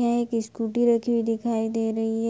यहाँ एक स्कूटी रखी हुई दिखाई दे रही है।